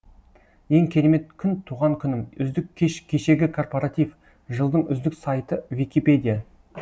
ең керемет күн туған күнім үздік кеш кешегі корпоратив жылдың үздік сайты википедия